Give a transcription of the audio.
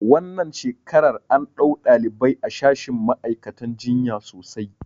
Wannan shekarar an ɗau ɗalibai a shashin ma'aikatan jinya sosai